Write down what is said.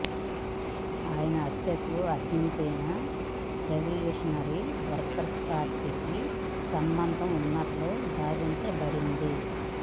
ఆయన హత్యకు Argentina revolutionary workers పార్టీకి సంబంధం ఉన్నట్లు భావించబడింది